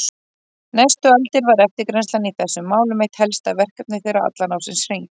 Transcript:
Næstu aldir var eftirgrennslan í þessum málum eitt helsta verkefni þeirra allan ársins hring.